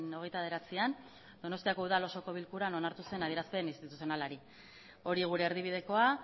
hogeita bederatzian donostiako udal osoko bilkuran onartu zen adierazpen instituzionalari hori gure erdibidekoa